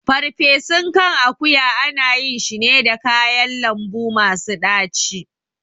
Ferfesun kan akuya ana yin shi ne da kayan lambu masu ɗaci